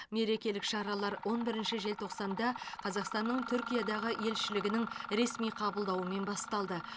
мерекелік шаралар он бірінші желтоқсанда қазақстанның түркиядағы елшілігінің ресми қабылдауымен басталды